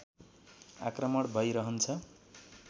आक्रमण भै रहन्छ